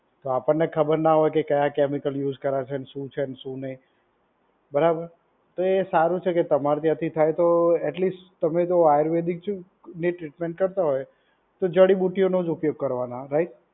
તો આપણ ને ખબર ના હોય કે કયા કેમિકલ યુઝ કરીયા છે. શુ છે શુ નઈ બરાબર તો એ સારું છેકે તમારાથી થાય તો એટલીસ તમે તો આયુર્વેદિક ટ્રીટમેન્ટ કરતાં હોય તો જડીબુટ્ટીનો ઉપયોગ કરવાના રાઈટ